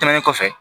Tɛmɛnen kɔfɛ